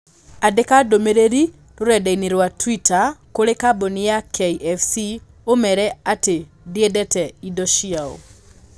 Andĩka ndũmĩrĩri rũrenda-inī rũa tũita kũrĩĩ kambuni ya K.F.C ũmeere atiĩ ndiendete indo ciao.